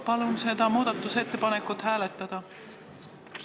Palun seda muudatusettepanekut hääletada!